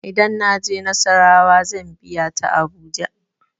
Idan na je nassarawa zan biya ta abuja.